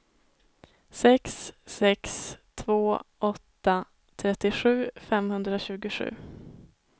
sex sex två åtta trettiosju femhundratjugosju